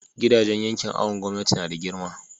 gidajen yankin awon gomnati nada girma